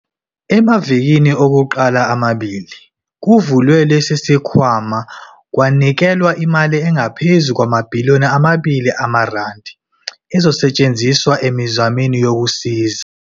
Emavikini okuqala amabili kuvulwe lesi sikhwama, kwanikelwa imali engaphezu kwamabhiliyoni amabili amarandi, ezosetshenziswa emizamweni yokusiza.